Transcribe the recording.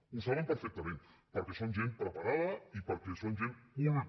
ho saben perfectament perquè són gent preparada i perquè són gent culta